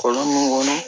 Kɔlɔn mun kɔnɔ